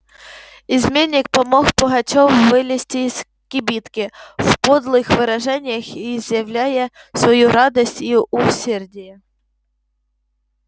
изменник помог пугачёву вылезти из кибитки в подлых выражениях изъявляя свою радость и усердие